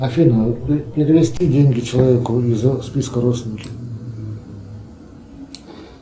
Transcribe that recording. афина перевести деньги человеку из списка родственники